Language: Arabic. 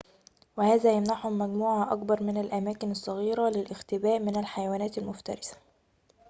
وهذا يمنحهم مجموعة أكبر من الأماكن الصغيرة للاختباء من الحيوانات المفترسة